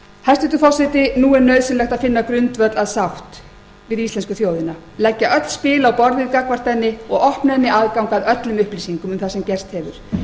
hæstvirtur forseti nú er nauðsynlegt að finna grundvöll að sátt við íslensku þjóðina leggja öll spil á borðið gagnvart henni og opna henni aðgang að öllum upplýsingum um það sem